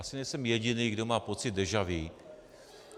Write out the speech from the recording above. Asi nejsem jediný, kdo má pocit deja vu.